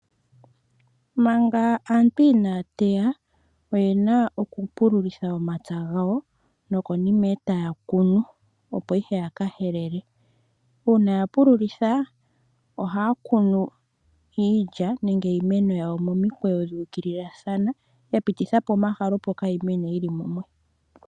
Manga aantu ina ya teya oye na okupululitha omapya gawo nokonima e taya kunu opo ya ka helele. Uuna ya pululitha ohaya kunu iilya nenge iimeno yawo momikweyo yuukililathana ya pitithapo omahala opo kayi mene yili mumwe.